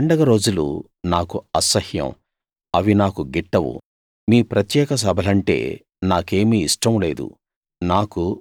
మీ పండగ రోజులు నాకు అసహ్యం అవి నాకు గిట్టవు మీ ప్రత్యేక సభలంటే నాకేమీ ఇష్టం లేదు